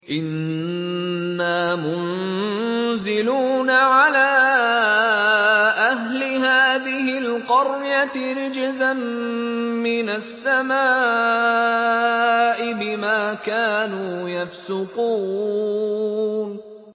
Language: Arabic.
إِنَّا مُنزِلُونَ عَلَىٰ أَهْلِ هَٰذِهِ الْقَرْيَةِ رِجْزًا مِّنَ السَّمَاءِ بِمَا كَانُوا يَفْسُقُونَ